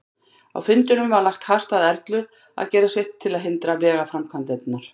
Á fundinum var lagt hart að Erlu að gera sitt til að hindra vegaframkvæmdirnar.